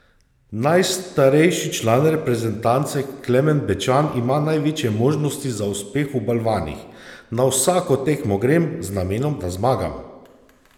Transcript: Najstarejši član reprezentance Klemen Bečan ima največje možnosti za uspeh v balvanih: "Na vsako tekmo grem z namenom, da zmagam.